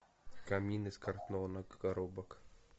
камин из картонных коробок